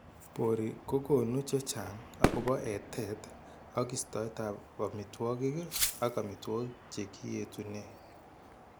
Borii ko konu chechang' akobo etet ak istoetab amitwogik ak amitwogik che kietunee.